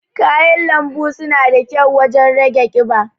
kayan lanbu suna da kyau wajen rage ƙiba.